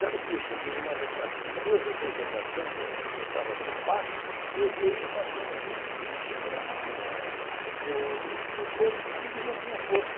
Sabe que eu cheguei numa reparti duas ou três repartições, eu estava na pasta, eu dei e passou uns vinte dias, cheguei lá na na no no coisa, a menina tinha posto.